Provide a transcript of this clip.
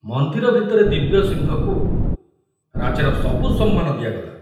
ମନ୍ଦିର ଭିତରେ ଦିବ୍ୟସିଂହକୁ ରାଜାର ସବୁ ସମ୍ମାନ ଦିଆଗଲା।